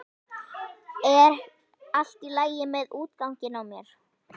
Er allt í lagi með útganginn á mér?